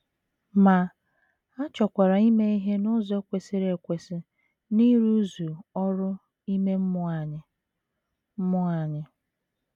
Ma, a chọkwara ime ihe n’ụzọ kwesịrị ekwesị n’ịrụzu ọrụ ime mmụọ anyị mmụọ anyị.